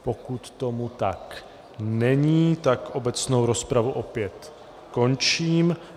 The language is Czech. Pokud tomu tak není, tak obecnou rozpravu opět končím.